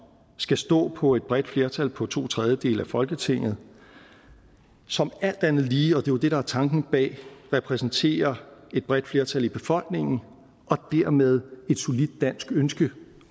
skal stå på et bredt flertal på to tredjedele i folketinget som alt andet lige og det er jo det der er tanken bag repræsenterer et bredt flertal i befolkningen og dermed et solidt dansk ønske